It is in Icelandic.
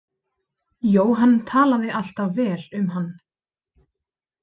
Jóhann talaði alltaf vel um hann.